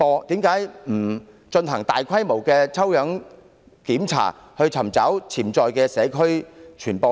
為何不進行大規模抽樣檢查，尋找潛在的社區傳播鏈？